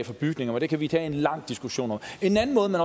for bygninger og det kan vi tage en lang diskussion om en anden måde man